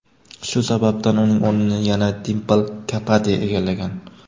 Shu sababdan uning o‘rnini yana Dimpl Kapadiya egallagan.